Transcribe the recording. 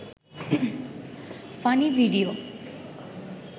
funny video